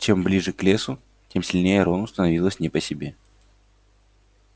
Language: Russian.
чем ближе к лесу тем сильнее рону становилось не по себе